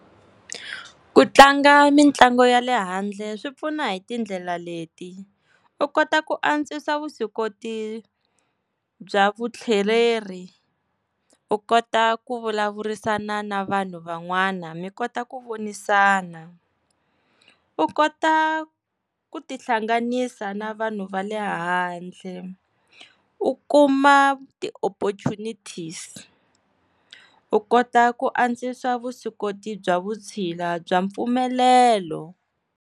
Ku tlanga mitlangu ya le handle swi pfuna hi tindlela leti, u kota ku antswisa vuswikoti bya vutlheleri u kota ku vulavurisana na vanhu van'wana mi kota ku vonisana, u kota ku tihlanganisa na vanhu va le handle u kuma ti-opportunities-i u kota ku andzisa vuswikoti bya vutshila bya mpfumelelo.